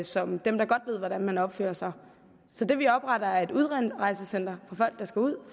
som dem der godt ved hvordan man opfører sig så det vi opretter er et udrejsecenter for folk der skal ud